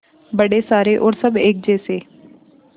बड़े सारे और सब एक जैसे